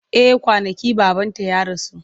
Eh kwanaki babanta ya rasu.